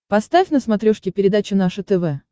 поставь на смотрешке передачу наше тв